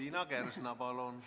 Liina Kersna, palun!